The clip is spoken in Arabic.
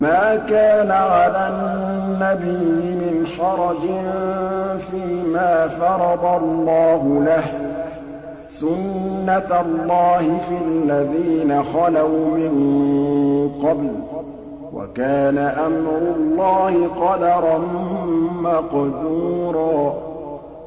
مَّا كَانَ عَلَى النَّبِيِّ مِنْ حَرَجٍ فِيمَا فَرَضَ اللَّهُ لَهُ ۖ سُنَّةَ اللَّهِ فِي الَّذِينَ خَلَوْا مِن قَبْلُ ۚ وَكَانَ أَمْرُ اللَّهِ قَدَرًا مَّقْدُورًا